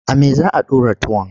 A me za a ɗora tuwon?